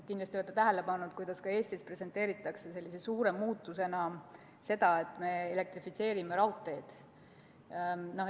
Kindlasti olete tähele pannud, kuidas ka Eestis presenteeritakse suure muutusena seda, et me elektrifitseerime raudteed.